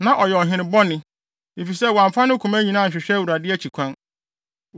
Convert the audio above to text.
Na ɔyɛ ɔhene bɔne, efisɛ wamfa ne koma nyinaa anhwehwɛ Awurade akyi kwan.